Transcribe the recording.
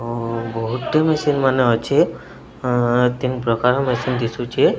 ବହୁତ ମେସିନ ମାନ ଅଛି ତିନି ପ୍ରକାର ମେସିନ ଦିଶୁଚି।